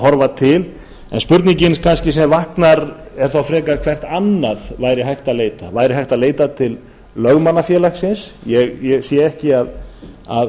horfa til en spurningin kannski sem vaknar er þá frekar hvert annað væri hægt að leita væri hægt að leita til lögmannafélagsins ég sé ekki að